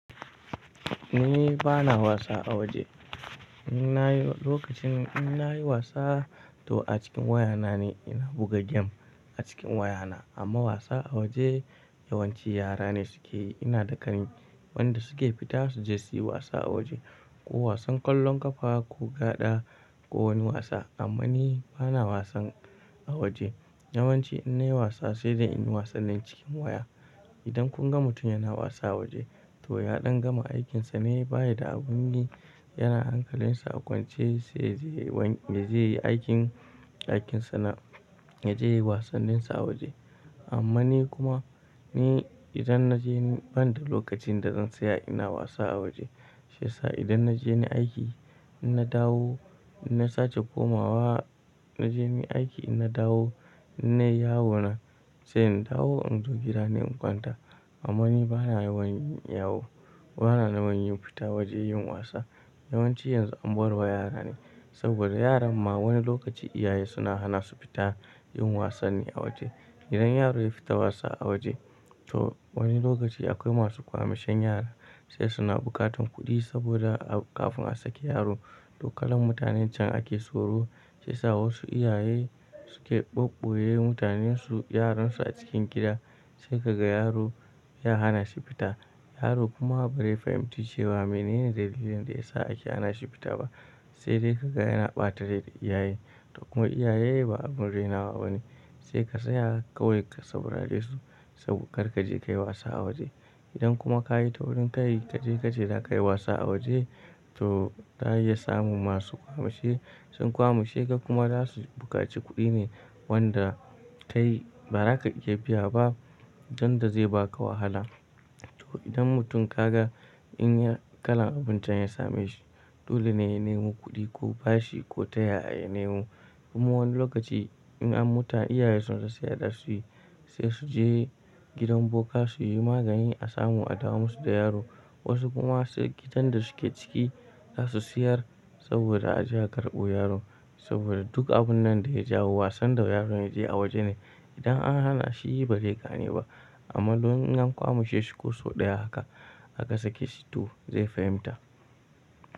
Ni bana wasa a waje. Na yi lokacin in na yi wasa, to a cikin wayana ne ina buga game a cikin wayana. Amma wasa a waje yawanci yara ne suke. Ina da ƙani wanda suke fita su je su yi wasa a waje, ko wasan ƙwallon ƙafa ko gaɗa ko wani wasa. Amma ni bana wasan a waje. Yawanci in na yi wasa sai dai in yi wasannin cikin waya. Idan kun ga mutum yana wasa a waje, to ya ɗan gama aikinsa ne, baya da abun yi, yana hankalinsa a kwance sai yaje ya wai me zai yi aikin aikinsa na ya je wasanninsa a waje. Amma ni kuma, ni idan na je ni ban da lokacin da zan saya ina wasa a waje. Shi yasa idan na je ni aiki, in naje dawo ina sace komawa, na je ni aiki ina dawo in nai yawo na, sai in dawo in zo gida ni in kwanta. Amma ni bana yawan yin yawo, bana naman yin fita waje yin wasa. Yawanci yanzu an bar wa yara ne saboda yaran ma wani lokaci iyaye suna hana su fita yin wasanni a waje. Idan yaro ya fita wasa a waje, to wani lokaci akwai masu kwamishen yara sai suna buƙatan kuɗi saboda a kafin a sake yaro, to kalar mutanen can ake soro sai sa wasu iyaye suke ɓaɓɓoɓoye mutanen su, yaran su a cikin gida sai ka ga yaro ya hana shi fita. Yaro kuma ba zai fahimci cewa menene dalilin da ya sa ake hana shi fita ba. Sai dai ka ga yana ɓata rai da iyaye. To kuma iyaye ba abun rainawa ba ne. Sai ka tsaya kawai ka saurare su sab kar ka je ka yi wasa a waje. Idan kuma ka yi taurin ka yi kaje kaje za ka ce zaka yi wasa a waje, to ta iya samun masu kwamashe sun kwamushe ka kuma za su buƙaci kuɗi ne wanda kai ba za ka iya biya ba don da zai ba ka wahala. To idan mutum ka ga in ya kalan abun can ya same shi, dole ne ya nemo kuɗi ko bashi ko taya ya nemo. Kuma wani lokaci in an muta iyaye sun sa sayar su yi, sai su je gidan boka su yi magani a samu a dawo musu da yaro. Wasu kuma se gidan da suke ciki za su siyar saboda a je a karɓo yaro. Saboda duk abun nan da ya jawo wasan da yaron ya je a waje ne. Idan an hana shi, yi ba ze gane ba. Amma don in an kwamushe shi ko sau ɗaya haka, aka sake shi to zai fahimta.